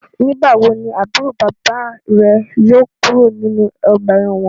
Nigbawo ni aburo baba re yóò kuro ninu ọgba ẹ́wọ̀n?